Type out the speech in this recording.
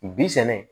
Bi sɛnɛ